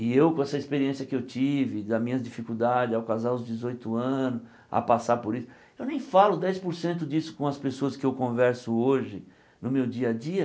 E eu, com essa experiência que eu tive, das minhas dificuldades, ao casar os dezoito anos, a passar por isso, eu nem falo dez por cento disso com as pessoas que eu converso hoje, no meu dia a dia,